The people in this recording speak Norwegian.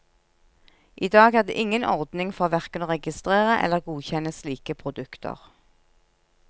I dag er det ingen ordning for verken å registrere eller godkjenne slike produkter.